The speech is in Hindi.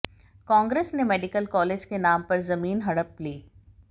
कांग्रेस ने मेडिकल कॉलेज के नाम पर जमीन हड़प ली